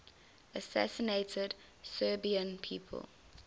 assassinated serbian people